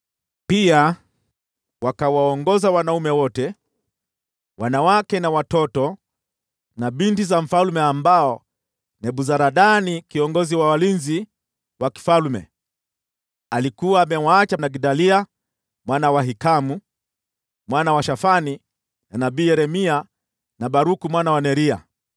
Pia wakawaongoza wanaume wote, wanawake na watoto, na binti za mfalme ambao Nebuzaradani kiongozi wa walinzi wa mfalme alikuwa amewaacha na Gedalia mwana wa Ahikamu mwana wa Shafani, na nabii Yeremia, na Baruku mwana wa Neria.